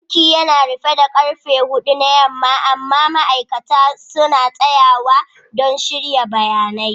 Bankin yana rufe da karfe hudu na yamma amma ma'aikatan banki suna tsayawa don shirya bayanan.